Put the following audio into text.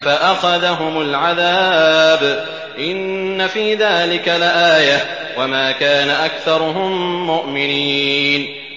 فَأَخَذَهُمُ الْعَذَابُ ۗ إِنَّ فِي ذَٰلِكَ لَآيَةً ۖ وَمَا كَانَ أَكْثَرُهُم مُّؤْمِنِينَ